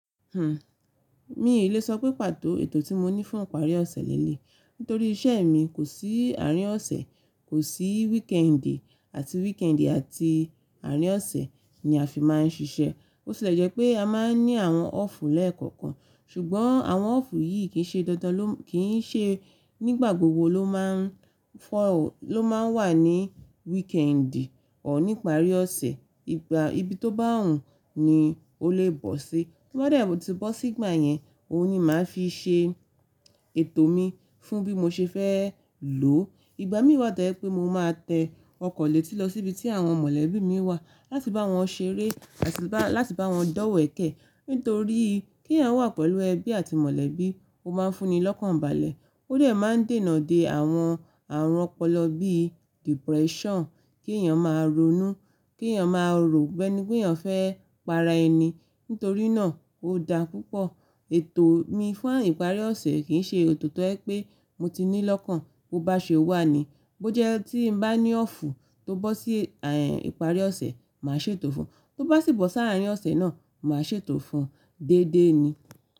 Mi ò le sọ pé pàtó ètò tí mo ní fún ìparí ọ̀sẹ̀ lélé, nítorí iṣẹ́ mi kò sí àárín ọ̀sẹ̀, kò sí wíkẹ́ẹ̀ndì àti wíkẹ́ẹ̀ndì àti àárín ọ̀sẹ̀ ni a fi máa ń ṣiṣẹ́. Bó tì lẹ jẹ́ pé a máa ń ní àwọn ọ́ọ̀fù lẹ́ẹ̀kọ̀kan, ṣùgbọ́n àwọn ọ́ọ̀fù yìí kì í ṣe nígbà gbogbo ló máa ń wà ní wíkẹ́ẹ̀ndì ọ̀ọ́ nípa àrí ọ̀sẹ̀, ibi tó bá hùn ni ó lè bọ́ sí. To bá dẹ̀ tí bọ sí ìgbà yẹn, òun ni màá fi ṣe ètò mi fún bí mo ṣe fẹ́ lò ó. Ìgbà mí wà tó jẹ̀ pé mo máa tẹ ọkọ̀ létí lọ sí ibi tí àwọn mọ̀lẹ́bí mi wà láti bá wọn ṣeré àti láti bá wọn dọ́wẹ̀kẹ̀. Nítorí kí èèyàn wà pẹ̀lú ẹbí àti mọ̀lẹ́bí, ó máa ń fún ni lọ́kànbalẹ̀. Ó dẹ̀ máa ń dènà de àwọn àrùn ọpọlọ bí i depression, kí èèyàn máa ronú, kí èèyàn máa rò biẹ ni pé èèyàn fẹ́ para ẹni. Nítorí náà ó dá púpọ̀. Ètò mi fún ìparí ọ̀sẹ̀ kìí ṣe òtò tó ẹ́ pé mo ti ní lọ́kàn bó bá ṣe wà ni. Bó jẹ́ tí mo bá ní ọ́ọ̀fù tó bọ́ sí ìpàrí ọ̀sẹ̀, màá ṣètò fún un, tó bá sì bọ́ sáà àárín ọ̀sẹ̀ náà, màá ṣètò fún un déédé ni.